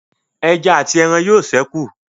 Ẹja àti aràn yóò sẹku